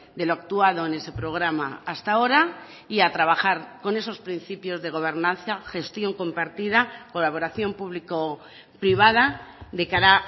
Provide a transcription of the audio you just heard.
de lo actuado en ese programa hasta ahora y a trabajar con esos principios de gobernanza gestión compartida colaboración público privada de cara